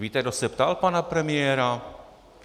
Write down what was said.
Víte, kdo se ptal pana premiéra?